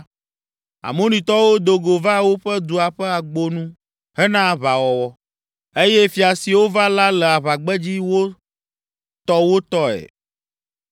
Amonitɔwo do go va woƒe dua ƒe agbo nu hena aʋawɔwɔ, eye fia siwo va la le aʋagbedzi wo tɔ wo tɔe.